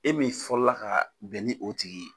E min fɔlɔ la ka bɛn ni o tigi ye.